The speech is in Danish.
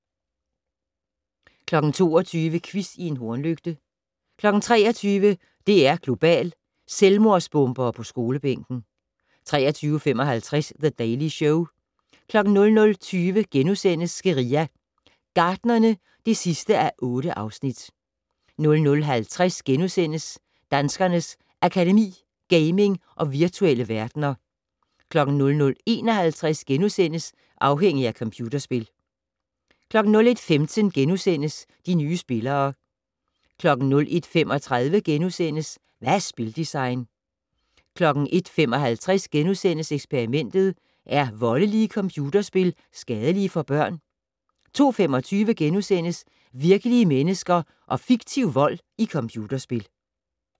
22:00: Quiz i en hornlygte 23:00: DR2 Global: Selvmordsbombere på skolebænken 23:55: The Daily Show 00:20: Guerilla Gartnerne (8:8)* 00:50: Danskernes Akademi: Gaming og virtuelle verdener * 00:51: Afhængig af computerspil * 01:15: De nye spillere * 01:35: Hvad er spildesign? * 01:55: Eksperimentet: Er voldelige computerspil skadelige for børn? * 02:25: Virkelige mennesker og fiktiv vold i computerspil *